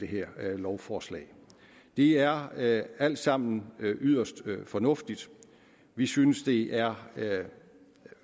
her lovforslag det er er alt sammen yderst fornuftigt vi synes det er